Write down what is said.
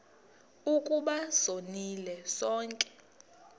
ukuba sonile sonke